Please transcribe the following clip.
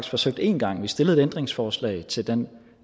forsøgt én gang vi stillede et ændringsforslag til den